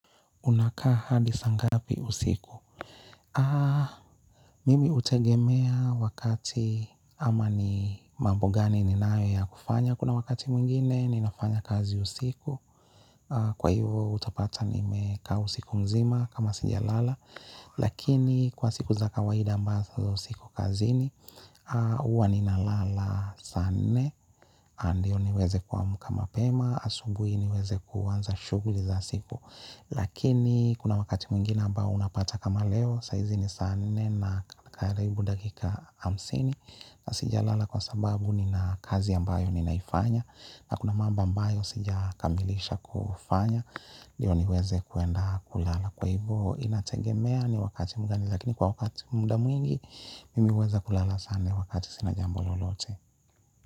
Unakaa hadi saa ngapi usiku? Aaah. Mimi hutegemea wakati, ama ni mambo gani ninayo ya kufanya. Kuna wakati mwingine, ninafanya kazi usiku. Aah. Kwa hivo utapata, nimekaa usiku mzima kama sijalala. Lakini, kwa siku za kawaida ambazo siko kazini, huwa ninalala saa nne. Na ndio niweze kuamka mapema. Asubuhi niweze kuanza shughuli za siku. Lakini, kuna wakati mwingine ambao unapata kama leo, saa hizi ni saa nne na karibu dakika hamsini. Na sijalala kwa sababu nina kazi ambayo ninaifanya, na kuna mambo ambayo sijakamilisha kufanya ndio niweze kuenda kulala. Kwa hivyo, inategemea ni wakati mgani. Lakini kwa wakati muda mwingi mimi huweza kulala sana wakati sina jambo lolote.